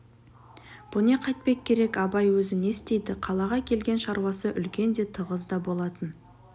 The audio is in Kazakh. бұ не қайтпек керек абай өзі не істейді қалаға келген шаруасы үлкен де тығыз да болатын